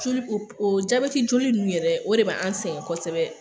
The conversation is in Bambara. Joli, o jabɛti joli nunnu yɛrɛ o de be an sɛngɛ kɔsɛbɛ.